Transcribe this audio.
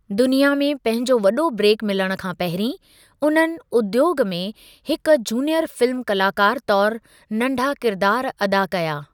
दुनिया में पंहिंजो वॾो ब्रेक मिलणु खां पहिरीं, उन्हनि उद्योगु में हिकु जूनियर फिल्म कलाकारु तौरु नंढा किरदारु अदा कया।